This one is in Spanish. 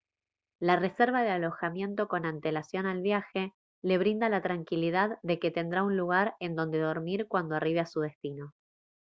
la reserva de alojamiento con antelación al viaje le brinda la tranquilidad de que tendrá un lugar en donde dormir cuando arribe a su destino